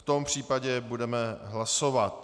V tom případě budeme hlasovat.